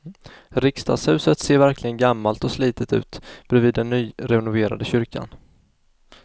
Riksdagshuset ser verkligen gammalt och slitet ut bredvid den nyrenoverade kyrkan.